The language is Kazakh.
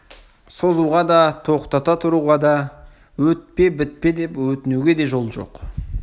созуға да тоқтата тұруға да өтпе бітпе деп өтінуге де жол жоқ